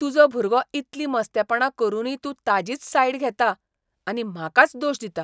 तुजो भुरगो इतली मस्तेपणां करुनूय तूं ताजीच सायड घेता, आनी म्हाकाच दोश दिता.